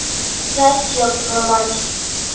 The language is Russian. здравствуйте ёб твою мать